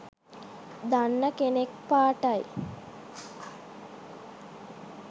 දන්නා කෙනෙක් පාටයි.